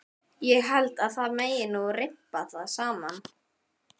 Ég held að það megi nú rimpa það saman.